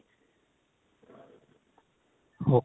ok